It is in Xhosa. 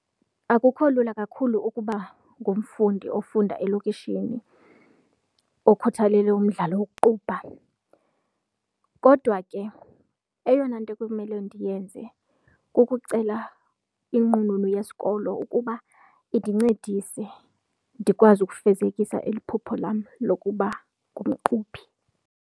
Akukho lula kakhulu ukuba ngumfundi ofunda elokishini okhuthelele umdlalo wokuqubha kodwa ke eyona nto ekumele ndiyenze kukucela inqununu yesikolo ukuba indincedise, ndikwazi ukufezekisa eli iphupho lam lokuba ngumqubhi.